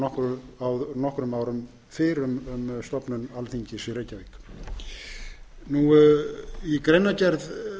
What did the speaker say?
gaf út tilskipun nokkrum árum fyrr m stofnun alþingis í reykjavík í greinargerð